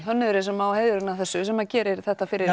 hönnuðurinn sem á heiðurinn að þessu sem að gerir þetta fyrir